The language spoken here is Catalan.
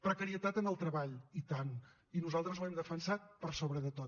precarietat en el treball i tant i nosaltres ho hem defensat per sobre de tot